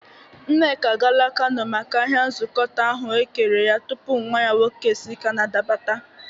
Nneka agala Kano maka ahia nzọkọta ahụekere ya tupu nwa ya nwoke esi kanada bata.